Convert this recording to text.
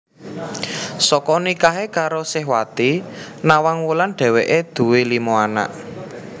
Saka nikahe karo Sihwati Nawangwulan dheweke duwé lima anak